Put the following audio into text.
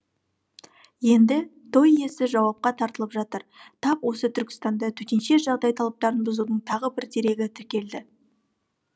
енді той иесі жауапқа тартылып жатыр тап осы түркістанда төтенше жағдай талаптарын бұзудың тағы бір дерегі тіркелді